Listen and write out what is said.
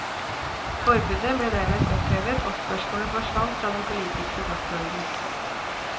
Forbudet ble dermed opphevet og spørsmålet forsvant fra den politiske dagsorden.